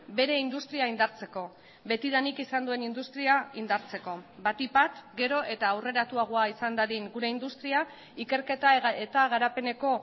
bere industria indartzeko betidanik izan duen industria indartzeko batik bat gero eta aurreratuagoa izan dadin gure industria ikerketa eta garapeneko